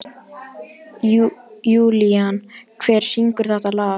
Julian, hver syngur þetta lag?